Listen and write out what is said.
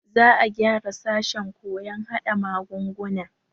Za a gyara sashen koyon hada magunguna.